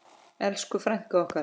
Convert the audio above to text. Elsku frænka okkar.